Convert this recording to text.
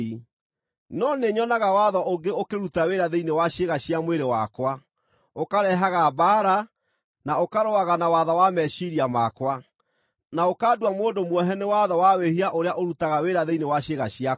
no nĩnyonaga watho ũngĩ ũkĩruta wĩra thĩinĩ wa ciĩga cia mwĩrĩ wakwa, ũkarehaga mbaara, na ũkarũaga na watho wa meciiria makwa, na ũkandua mũndũ muohe nĩ watho wa wĩhia ũrĩa ũrutaga wĩra thĩinĩ wa ciĩga ciakwa.